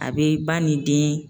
A bɛ ba ni den